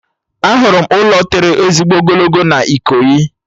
Ahụrụ m ụlọ tọrọ ezigbo ogologo na Ikoyi